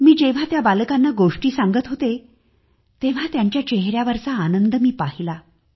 मी जेव्हा त्या बालकांना गोष्टी सांगत होते तेव्हा त्यांच्या चेहऱ्यावरचा आनंद मी पाहिला